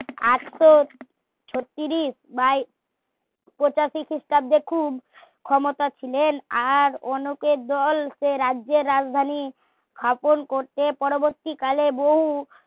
আটশো ছত্তিরিশ বা পঁচাশি খ্রিস্টাব্দে খুব ক্ষমতা ছিলেন আর অনেকের দল সে রাজ্যের রাজধানী শাসন করতে পরবর্তীকালে বহু